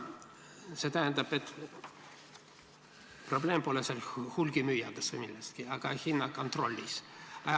See tähendab, et probleem pole hulgimüüjates või milleski muus, vaid hinnakontrollis.